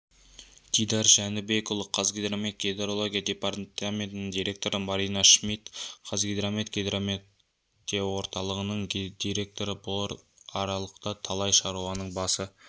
дидар жәнібекұлы қазгидромет гидрология департаментінің директоры марина шмидт қазгидромет гидрометорталығының директоры бұл аралықта талай шаруаның басы